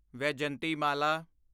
Vyjayanthimala